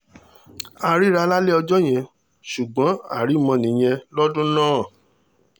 a ríra lálẹ́ ọjọ́ yẹn ò ṣùgbọ́n arímọ nìyẹn lọ́dún náà